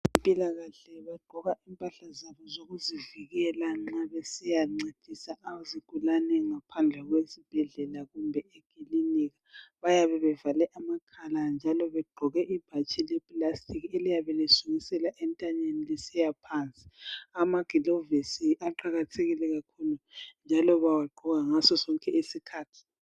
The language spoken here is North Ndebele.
Abezempilakahle bagqoka impahla zabo zokuzivikela nxa besiyancedisa izigulane ngaphandle kwesibhedlela kumbe ekilinika. Bayabe bevale amakhala njalo begqoke amabhatshi leplastic eliyabe lisukisela entanyeni lisiyafika phansi. Amagilovisi aqakathekile kakhulu njalo bawagqoka ngasosonke isikhathi.